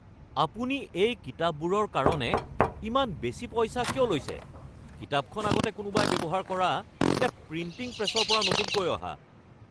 আপুনি এই কিতাপবোৰৰ কাৰণে ইমান বেছি পইচা কিয় লৈছে? কিতাপখন আগতে কোনোবাই ব্যৱহাৰ কৰা নে প্ৰিণ্টিং প্ৰেছৰ পৰা নতুনকৈ অহা?